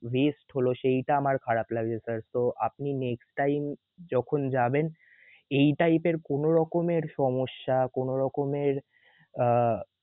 waste সেইটা আমার খারাপ লাগছে sir তো আপনি next time যখন যাবেন এই type এর কোনোরকমের সমস্যা কোনো রকমের আহ